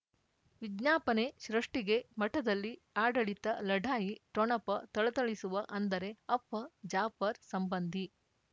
ವಿಜ್ಞಾಪನೆ ಸೃಷ್ಟಿಗೆ ಮಠದಲ್ಲಿ ಆಡಳಿತ ಲಢಾಯಿ ಠೊಣಪ ಥಳಥಳಿಸುವ ಅಂದರೆ ಅಪ್ಪ ಜಾಫರ್ ಸಂಬಂಧಿ